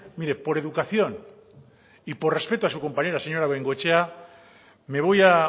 mire por educación y por respeto a su compañera señora bengoechea me voy a